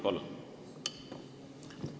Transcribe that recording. Palun!